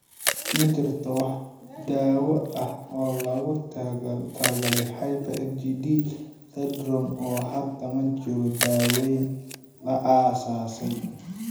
Ma jirto wax daawo ah oo loogu talagalay hyper IgD syndrome oo hadda ma jiro daaweyn la aasaasay.